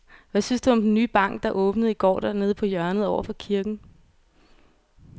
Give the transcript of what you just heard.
Hvad synes du om den nye bank, der åbnede i går dernede på hjørnet over for kirken?